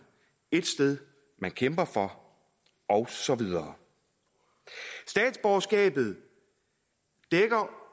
ét sted man kæmper for og så videre statsborgerskabet dækker